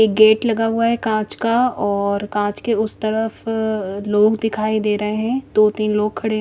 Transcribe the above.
एक गेट लगा हुआ है कांच का और कांच के उस तरफ अः लोग दिखाई दे रहे है दो तीन लोग खड़े --